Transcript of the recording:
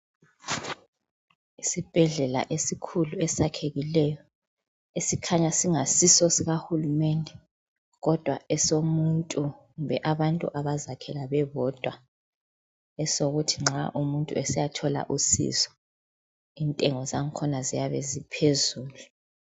Isibhedlela esikhulu esakhekileyo esikhanya singasiso sikahulumende kodwa esomuntu kumbe abantu abazakhela bebodwa esokuthi nxa umuntu esiyathola usizo intengo zakhona ziyabe ziphezulu.